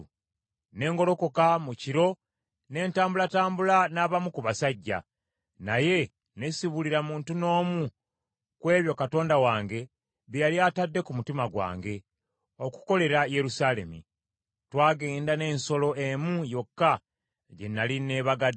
ne ngolokoka mu kiro ne ntambulatambula n’abamu ku basajja, naye ne sibuulira muntu n’omu ku ebyo Katonda wange bye yali atadde ku mutima gwange okukolera Yerusaalemi. Twagenda n’ensolo emu yokka gye nnali neebagadde.